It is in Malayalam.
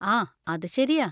ആ, അത് ശരിയാ.